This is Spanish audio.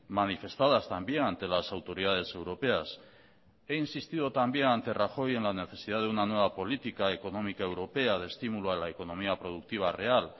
manifestadas también ante las autoridades europeas he insistido también ante rajoy en la necesidad de una nueva política económica europea de estímulo a la economía productiva real